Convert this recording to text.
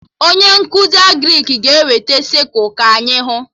Onye nkụzi Agrịk ga-eweta sịkụl ka anyị hụ